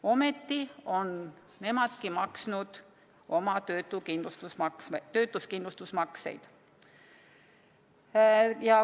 Ometi on nemadki maksnud oma töötuskindlustusmakseid.